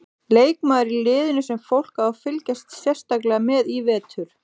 Leikmaður í liðinu sem fólk á að fylgjast sérstaklega með í vetur?